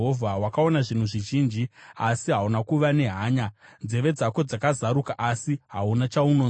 Wakaona zvinhu zvizhinji, asi hauna kuva nehanya; nzeve dzako dzakazaruka, asi hauna chaunonzwa.”